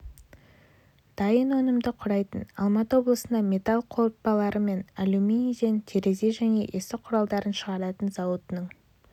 дайын өнімді құрайтын алматы облысында металл қорытпалары мен алюминийден терезе және есік құралдарын шығаратын зауытының